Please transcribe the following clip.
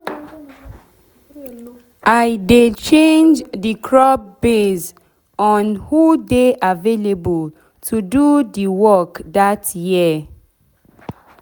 i dey change de crop base base on who dey available to do de work dat year